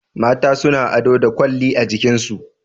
Mata suna ado da lalle a jikinsu